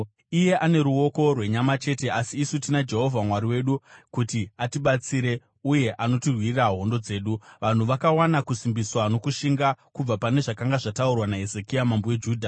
Iye ane ruoko rwenyama chete, asi isu tina Jehovha Mwari wedu kuti atibatsire uye anotirwira hondo dzedu.” Vanhu vakawana kusimbisiswa nokushinga kubva pane zvakanga zvataurwa naHezekia mambo weJudha.